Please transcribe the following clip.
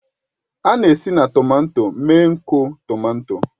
A na-esi na tomato mee nkọ tomato